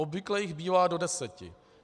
Obvykle jich bývá do deseti.